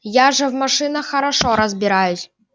я же в машинах хорошо разбираюсь